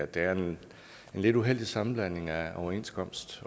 det er en lidt uheldig sammenblanding af overenskomst